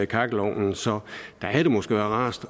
kakkelovnen så der havde det måske været rarest